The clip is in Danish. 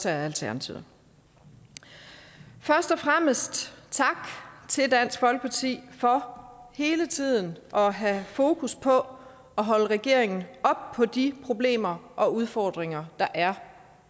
alternativet først og fremmest tak til dansk folkeparti for hele tiden at have fokus på at holde regeringen op på de problemer og udfordringer der er